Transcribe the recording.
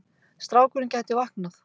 Strákurinn gæti vaknað.